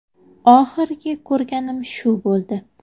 Oxirgi ko‘rganim shu bo‘ldi.